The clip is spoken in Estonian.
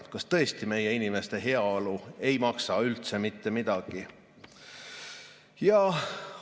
Kas tõesti meie inimeste heaolu ei maksa üldse mitte midagi?